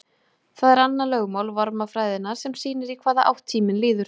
það er annað lögmál varmafræðinnar sem sýnir í hvaða átt tíminn líður